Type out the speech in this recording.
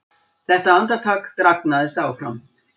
Þetta andartak dragnaðist áfram.